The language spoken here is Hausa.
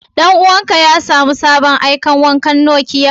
Dan uwan ka ya samu aikan sabon wakan Nokiyan jiya?